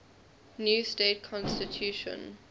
new state constitution